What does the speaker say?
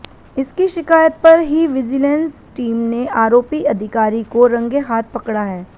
इसकी शिकायत पर ही विजिलेंस टीम ने आरोपी अधिकारी को रंगे हाथ पकड़ा है